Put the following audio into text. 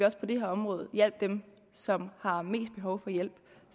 også på det her område hjælper dem som har mest behov for hjælp